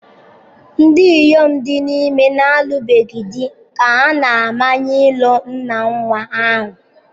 Ndị inyom dị ime na-alụbeghị di ka a na-amanye ịlụ nna nnwa ahụ.